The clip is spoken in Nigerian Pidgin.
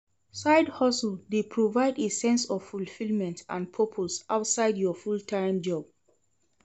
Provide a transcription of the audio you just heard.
Side-hustle dey provide a sense of fulfillment and purpose outside of your full-time job.